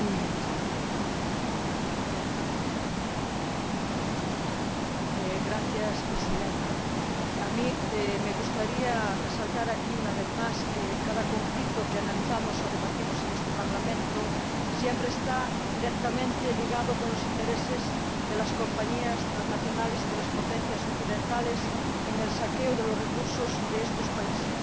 Señora Presidenta, a mí me gustaría resaltar aquí una vez más que cada conflicto que analizamos o debatimos en este Parlamento siempre está directamente ligado a los intereses de las compañías transnacionales y de las potencias occidentales en el saqueo de los recursos de estos países.